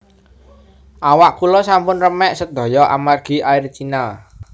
Awak kula sampun remek sedoyo amargi Air China